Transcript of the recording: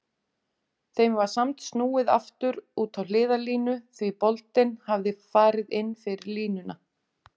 Þeim var samt snúið aftur út á hliðarlínu því boltinn hafði farið inn fyrir línuna.